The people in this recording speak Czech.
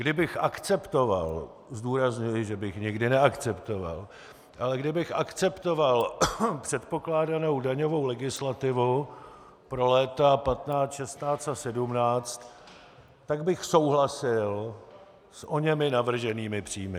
Kdybych akceptoval - zdůrazňuji, že bych nikdy neakceptoval, ale kdybych akceptoval předpokládanou daňovou legislativu pro léta 2015, 2016 a 2017, tak bych souhlasil s oněmi navrženými příjmy.